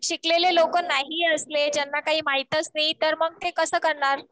शिकलेले लोक नाही असले. ज्यांना काही माहीतच नाही. मग ते कसं करणार?